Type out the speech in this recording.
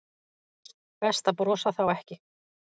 Best að brosa þá ekki.